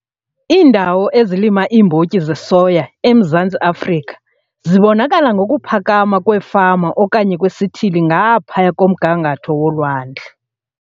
Iindawo ezilima iimbotyi zesoya eMzantsi Afrika zibonakala ngokuphakama kwefama okanye kwesithili ngaphaya komgangatho wolwandle.